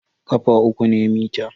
ƙafa uku ne mita.